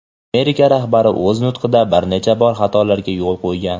Amerika rahbari o‘z nutqida bir necha bor xatolarga yo‘l qo‘ygan.